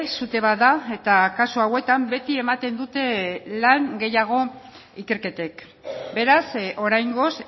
sute bat da eta kasu hauetan beti ematen dute lan gehiago ikerketek beraz oraingoz